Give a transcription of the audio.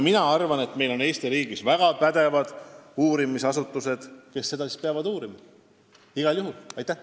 Mina arvan, et meil on siin Eesti riigis väga pädevad uurimisasutused, kes peavad neid asju igal juhul uurima.